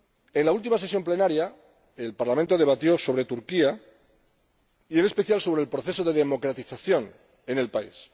En la última sesión plenaria, el Parlamento debatió sobre Turquía y, en especial, sobre el proceso de democratización en el país.